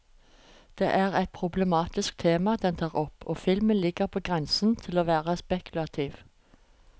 Det er et problematisk tema den tar opp, og filmen ligger på grensen til å være spekulativ.